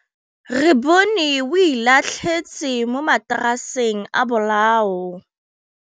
Re bone wêlôtlasê mo mataraseng a bolaô.